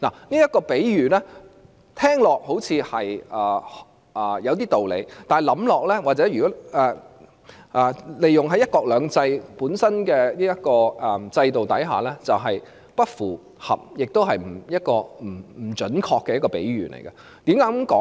這個比喻聽起來似乎有點道理，但仔細想想，由於香港是在"一國兩制"的制度下，這便是一個不符合香港實際情況，也是不準確的比喻。